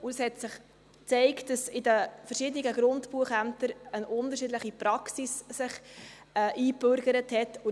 Es hat sich gezeigt, dass sich in den verschiedenen Grundbuchämtern eine unterschiedliche Praxis eingebürgert hat.